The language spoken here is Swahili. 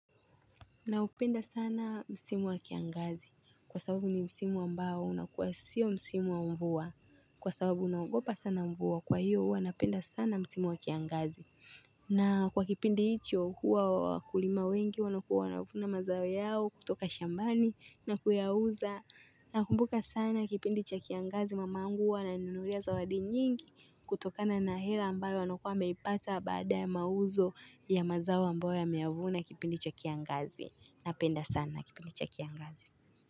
Na upenda sana msimu wa kiangazi kwa sababu ni msimu ambao unakuwa sio msimu wa mvua kwa sababu naogopa sana mvua kwa hiyo huwa napenda sana msimu wa kiangazi. Na kwa kipindi hicho huwa wakulima wengi wanakuwa wanavuna mazao yao kutoka shambani na kuyauza na kumbuka sana kipindi cha kiangazi mamangu huwa ananinunulia za wadi nyingi kutokana na hela ambayo anakuwa ameipata baada ya mauzo ya mazao ambayo ameyavuna kipindi cha kiangazi. Na penda sana ki pindi cha kiangazi.